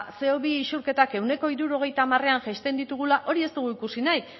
ba ce o bi isurketak ehuneko hirurogeita hamarean jaisten ditugula hori ez dugu ikusi nahi